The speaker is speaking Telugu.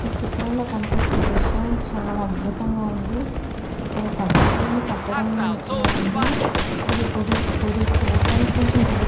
ఈ చిత్రంలో కనిపిస్తున్న దృశ్యం చాలా అద్భుతంగా ఉంది. ఇది ఒక్క అద్భుతమైన కట్టడం లా ఉంది. ఇది గుడి గుడి చూడడానికి కొంచం గుడి--